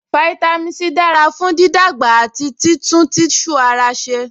Fáítámì C dára fún dídàgbà àti títún tíṣù ara ṣe